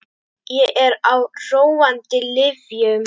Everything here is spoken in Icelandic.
Ég er á róandi lyfjum.